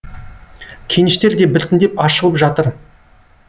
кеніштер де біртіндеп ашылып жатыр